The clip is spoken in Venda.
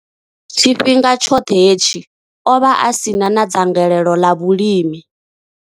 Tshifhinga tshoṱhe hetshi, o vha a si na dzangalelo ḽa vhulimi.